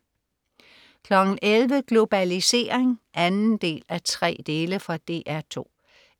11.00 Globalisering 2:3. Fra DR 2